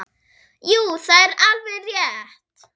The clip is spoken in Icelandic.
Jú, það er alveg rétt.